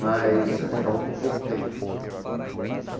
Mas aí ficavam por pouco tempo.